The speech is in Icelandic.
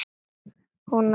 Hún á tvö börn.